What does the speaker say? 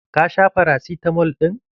Ka sha farasitamal ɗin?